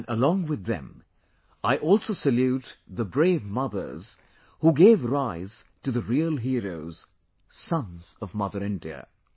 and along with them I also salute the brave mothers who gave rise to the real heroes, sons of Mother India